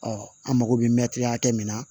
Ɔ an mago bɛ mɛtiri hakɛ min na